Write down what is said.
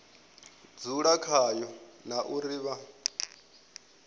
dzule khayo na uri vha